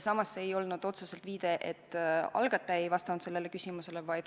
Samas ei olnud see otseselt viide sellele, et algataja ei vastanud sellele küsimusele.